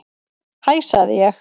Hæ sagði ég.